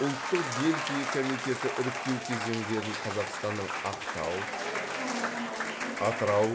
ұлттық дельфий комитеті іріктеу кезеңдерін қазақстанның ақтау атырау